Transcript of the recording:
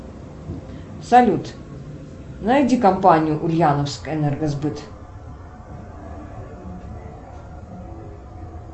салют найди компанию ульяновская энергосбыт